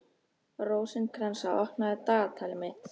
Rósinkransa, opnaðu dagatalið mitt.